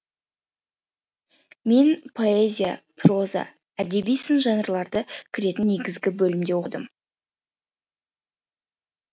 мен поэзия проза әдеби сын жанрлары кіретін негізгі бөлімде оқыдым